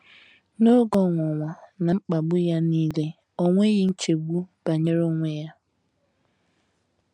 N’oge ọnwụnwa na mkpagbu ya nile, o nweghị nchegbu banyere onwe ya.